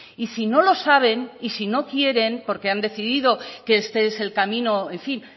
y si no lo saben y si no quieren porque han decidido que este es el camino en fin